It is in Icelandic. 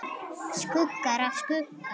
Skuggar af skugga.